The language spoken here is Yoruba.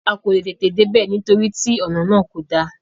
A kò leè tètè dé bẹ̀, nítorí tí ònà náà kò da.